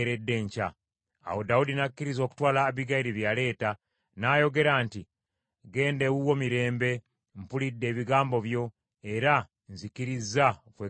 Awo Dawudi n’akkiriza okutwala Abbigayiri bye yaleeta, n’ayogera nti, “Genda ewuwo mirembe. Mpulidde ebigambo byo, era nzikkirizza okwegayirira kwo.”